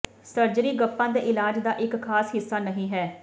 surgery ਗੱਪਾਂ ਦੇ ਇਲਾਜ ਦਾ ਇਕ ਖ਼ਾਸ ਹਿੱਸਾ ਨਹੀਂ ਹੈ